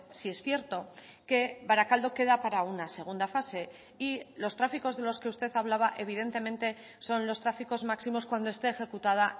sí es cierto que barakaldo queda para una segunda fase y los tráficos de los que usted hablaba evidentemente son los tráficos máximos cuando esté ejecutada